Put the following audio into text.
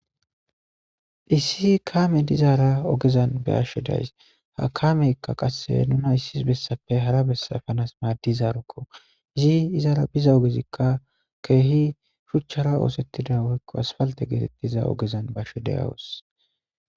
Issi kaame dizaara ogezan be ashshe days ha kameykka qasse nuna issis bessape hara bessa fanas maaddizarokko izi izaara biza ogezikka keehi shuchchara oosettida woykko asfalte geetettiza ogezan bashe deyawos.